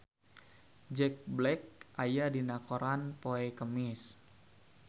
Jack Black aya dina koran poe Kemis